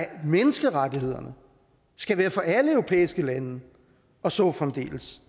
menneskerettighederne skal være for alle europæiske lande og så fremdeles